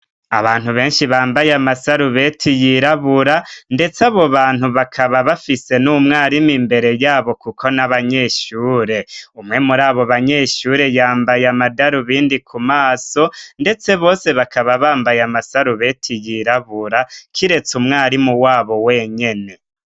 Abantu benshi bambaye amasarubeti yirabura, ndetse abo bantu bakaba bafise n'umwarimu imbere yabo kuko n'abanyeshure. Umwe muri abo banyeshure yambaye amadarubindi ku maso, ndetse bose bakaba bambaye amasarubeti yirabura kiretse umwarimu wabo wenyene.